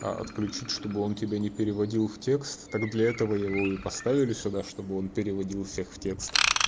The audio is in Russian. а отключить чтобы он тебя не переводил в текст так для этого его и поставили сюда чтобы он переводил всех в текст